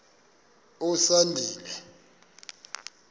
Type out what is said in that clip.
usandile